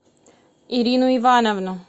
ирину ивановну